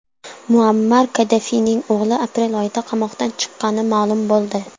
Muammar Kaddafining o‘g‘li aprel oyida qamoqdan chiqqani ma’lum bo‘ldi.